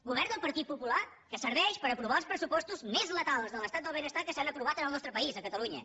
govern del partit popular que serveix per aprovar els pressupostos més letals de l’estat del benestar que s’han aprovat en el nostre país a catalunya